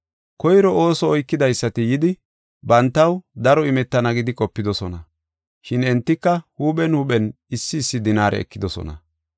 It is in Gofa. Koyro ooso oykidaysati yidi, bantaw daro imetana gidi qopidosona. Shin entika huuphen huuphen issi issi dinaare ekidosona.